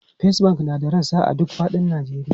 First Bank na da rassa a duk fadin Najeriya.